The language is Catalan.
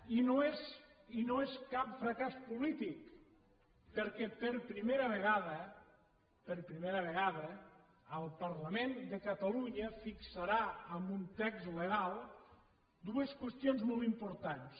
i no és no és cap fracàs polític perquè per primera vegada per primera vegada el parlament de catalunya fixarà amb un text legal dues qüestions molt importants